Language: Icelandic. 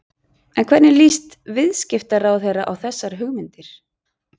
En hvernig líst viðskiptaráðherra á þessar hugmyndir?